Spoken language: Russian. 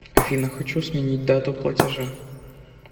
афина хочу сменить дату платежа